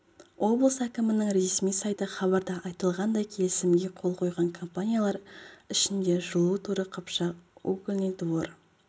облыс әкімінің ресми сайты хабарда айтылғандай келісімге қол қойған компаниялар ішінде жылу торы-қыпшак угольный двор